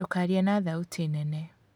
Ndũkarie na thauti nene